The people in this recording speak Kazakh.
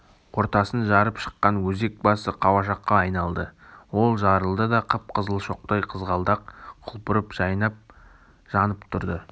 ортасын жарып шыққан өзек басы қауашақка айналды ол жарылды да қып-қызыл шоқтай қызғалдақ құлпырып жайнап жанып тұрды